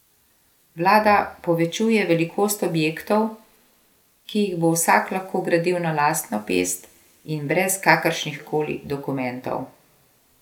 Vlada povečuje velikost objektov, ki jih bo vsak lahko gradil na lastno pest in brez kakršnih koli dokumentov.